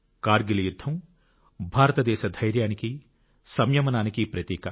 కార్గిల్ యుద్ధం భారతదేశ ధైర్యానికి సంయమనానికి ప్రతీక